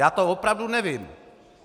Já to opravdu nevím.